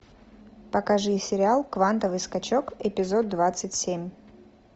покажи сериал квантовый скачок эпизод двадцать семь